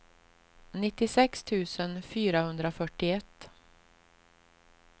nittiosex tusen fyrahundrafyrtioett